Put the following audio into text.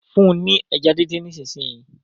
fún ní ẹja din dín nísìsiyìí!